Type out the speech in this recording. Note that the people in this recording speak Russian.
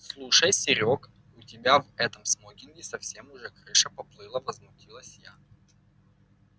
слушай серёг у тебя в этом смокинге совсем уже крыша поплыла возмутилась я